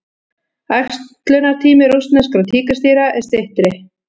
Æxlunartími rússneskra tígrisdýra er styttri.